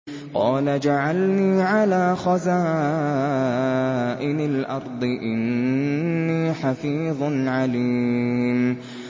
قَالَ اجْعَلْنِي عَلَىٰ خَزَائِنِ الْأَرْضِ ۖ إِنِّي حَفِيظٌ عَلِيمٌ